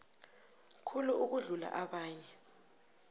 khulu ukudlula abanye